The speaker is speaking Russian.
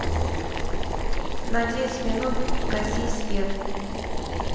на девять минут гаси свет